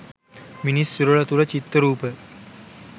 මිනිස් සිරුර තුළ චිත්ත රූප